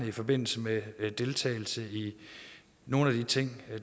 i forbindelse med deltagelse i nogle af de ting